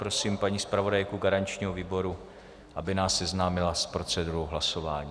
Prosím paní zpravodajku garančního výboru, aby nás seznámila s procedurou hlasování.